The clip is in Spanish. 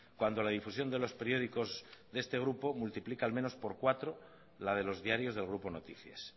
cuando la difusión de los periódicos de este grupo multiplica al menos por cuatro la de los diarios del grupo noticias